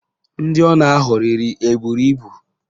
Ndị ọ na-aghọrịrị eburu ibu?